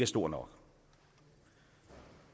stor nok